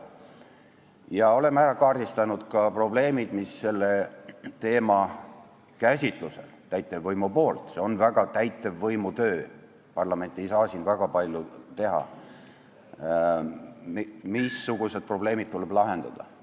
Me oleme kaardistanud ka probleemid, mis selle teema käsitlusel tuleb täitevvõimul lahendada .